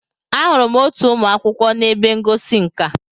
Ahụrụ m otu ụmụ akwụkwọ na ebe ngosi nka.